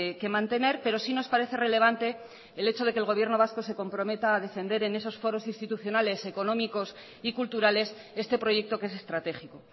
que mantener pero sí nos parece relevante el hecho de que el gobierno vasco se comprometa a defender en esos foros institucionales económicos y culturales este proyecto que es estratégico